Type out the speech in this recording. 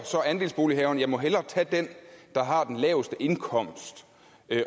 andelsbolighaveren så jeg må hellere tage dem der har den laveste indkomst